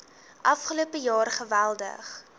afgelope jaar geweldig